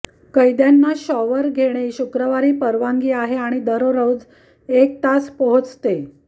कैद्यांना शॉवर घेणे शुक्रवारी परवानगी आहे आणि दररोज एक तास पोहोचते